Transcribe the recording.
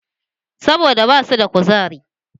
Saboda ba su da kuzari